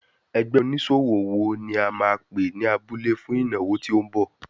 Ẹgbẹ́ oníṣòwò wo ni a máa pè ní abúlé fún ìnáwó tí ó ń bọ̀.